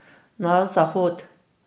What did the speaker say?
Na zahod.